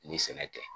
Ni sɛnɛ tɛ